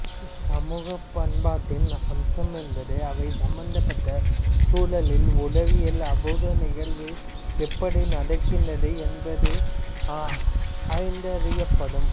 சமூகப்பண்பாட்டின் அம்சம் என்பது அவை சம்பந்தப்பட்ட சூழலில் உளவியல் அபூர்வ நிகழ்வு எப்படி நடக்கின்றது என்பதும் ஆய்ந்தறியப்படும்